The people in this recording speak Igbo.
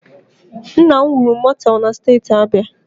Nna m wuru mọteelụ na Steeti Abia